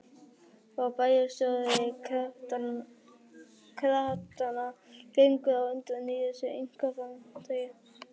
Og bæjarstjóri kratanna gengur á undan í þessu einkaframtaki.